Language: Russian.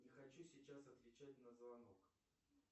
не хочу сейчас отвечать на звонок